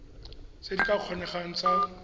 tse di ka kgonegang tsa